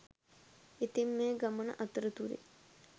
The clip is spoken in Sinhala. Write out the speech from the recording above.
ඉතින් මේ ගමන අතරතුරෙ